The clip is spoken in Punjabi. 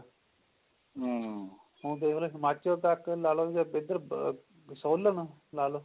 ਹੁਣ ਦੇਖਲੋ ਹਿਮਾਚਲ ਤੱਕ ਲਾ ਲੋ ਵੀ ਏਧਰ ਸੋਲਨ ਲਾ ਲੋ